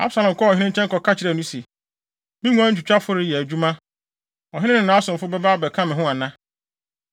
Absalom kɔɔ ɔhene nkyɛn kɔka kyerɛɛ no se, “Me nguan nwitwitwafo reyɛ adwuma. Ɔhene ne nʼasomfo bɛba abɛka me ho ana?”